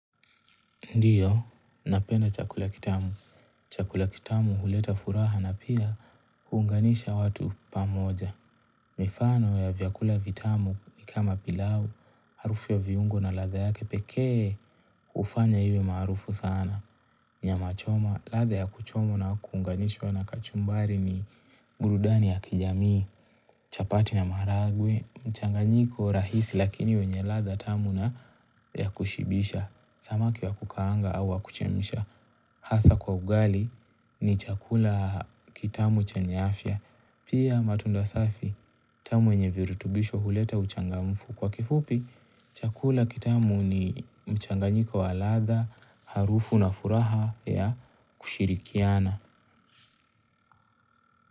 Ndiyo, napenda chakula kitamu. Chakula kitamu huleta furaha na pia kuunganisha watu pamoja. Mifano ya vyakula vitamu ni kama pilau, harufu ya viungo na ladha yake pekee hufanya iwe marufu sana. Nyama choma, ladha ya kuchoma na kuunganishwa na kachumbari ni burudani ya kijamii, chapati na maharagwe, mchanganyiko rahisi lakini wenye ladha tamu na ya kushibisha. Samaki wa kukaanga au wa kuchemsha hasa kwa ugali ni chakula kitamu chanye fya. Pia matunda safi tamu yenye virutubisho huleta uchangamfu. Kwa kifupi, chakula kitamu ni mchanganyiko wa ladha, harufu na furaha ya kushirikiana.